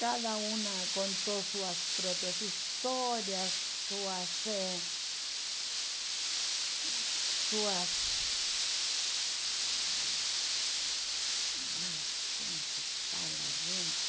Cada uma contou suas próprias histórias, suas... Eh, suas... Ai, como se fala, gente?